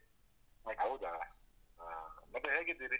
ಹೌದಾ ಹಾ ಮತ್ತೆ ಹೇಗಿದ್ದೀರಿ?